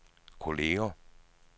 kolleger